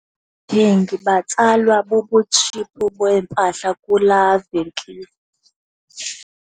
Abathengi batsalwa bubutshiphu beempahla kulaa venkile.